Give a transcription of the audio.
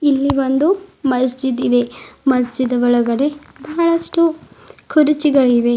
ಇಲ್ಲಿ ಒಂದು ಮಸ್ಜಿದ್ ಇದೆ ಮಸ್ಜಿದ್ ಒಳಗಡೆ ಬಹಳಷ್ಟು ಕುರ್ಚಿಗಳಿವೆ.